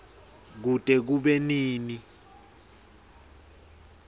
kute kube nini